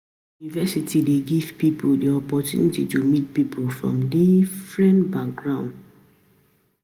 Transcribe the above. University dey give pipo di opportunity to meet pipo from different background